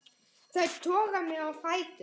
Þær toga mig á fætur.